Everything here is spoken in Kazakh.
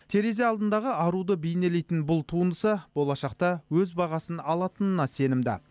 терезе алдындағы аруды бейнелейтін бұл туындысы болашақта өз бағасын алатынына сенімді